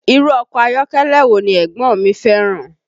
Irú ọkọ ayọ́kẹ́lẹ́ wo ni ẹ̀gbọ́n mi fẹ́ràn?